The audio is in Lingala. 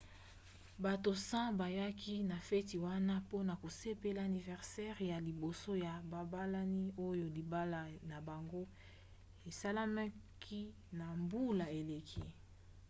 bato 100 bayaki na feti wana mpona kosepela aniversere ya liboso ya babalani oyo libala na bango esalemaki na mbula eleki